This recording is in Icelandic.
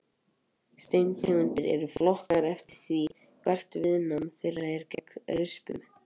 Steintegundir eru flokkaðar eftir því hvert viðnám þeirra er gegn rispum.